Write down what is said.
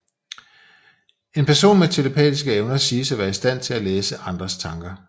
En person med telepatiske evner siges at være i stand til at læse andres tanker